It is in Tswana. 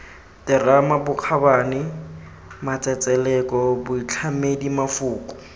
terama bokgabane matsetseleko boitlhamedi mafoko